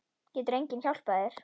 Getur enginn hjálpað þér?